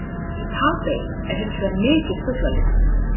Í Papey er hins vegar mikið fuglalíf.